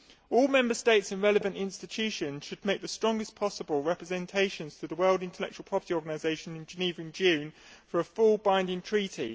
All Member States and relevant institutions should make the strongest possible representations to the World Intellectual Property Organisation in Geneva in June for a full, binding treaty.